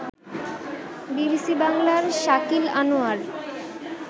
BBC বাংলার শাকিল আনোয়ার